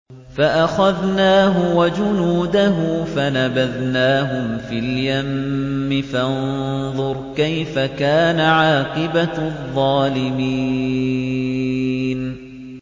فَأَخَذْنَاهُ وَجُنُودَهُ فَنَبَذْنَاهُمْ فِي الْيَمِّ ۖ فَانظُرْ كَيْفَ كَانَ عَاقِبَةُ الظَّالِمِينَ